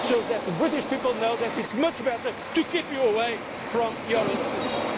came here. It shows that the British people know that it is much better to keep you away from your